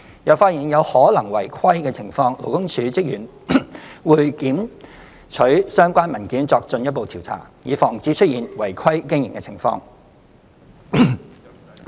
若發現有可能違規的情況，勞工處職員會檢取相關文件作進一步調查，以防止出現違規經營的情況。